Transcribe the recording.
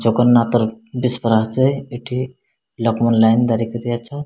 ଜଗନ୍ନାଥର ବିସ୍ ପରାସ୍ ଯାଏ ଏଥି ଲକ୍ଷ୍ମଣ ଲାଇନ୍ ଧରିକରି ଅଛ।